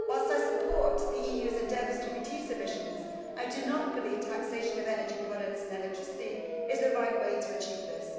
Whilst I support the EU's endeavours to reduce emissions, I do not believe that taxation of energy products and electricity is the right way to achieve this.